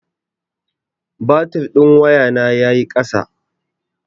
Batir ɗin wayana ya yi ƙasa.